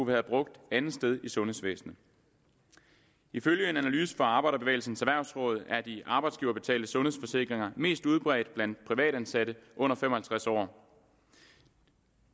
været brugt andetsteds i sundhedsvæsenet ifølge en analyse fra arbejderbevægelsens erhvervsråd er de arbejdsgiverbetalte sundhedsforsikringer mest udbredt blandt privatansatte under fem og halvtreds år